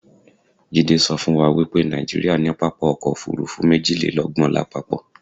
Jídé sọ fún wa wipé Nàìjíríà ní pápákọ̀ ọ̀kọ òfurufú méjìlélọ́gbọ̀n lápapọ̀